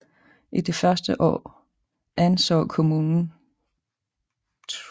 I de første år anså kommunen Th